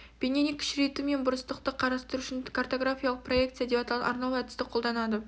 бейнені кішірейту мен бұрыстықты қарастыру үшін картографиялық проекция деп аталатын арнаулы әдісті қолданады